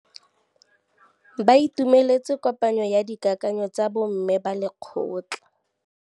Ba itumeletse kôpanyo ya dikakanyô tsa bo mme ba lekgotla.